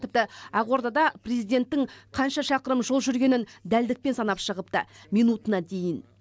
тіпті ақордада президенттің қанша шақырым жол жүргенін дәлдікпен санап шығыпты минутына дейін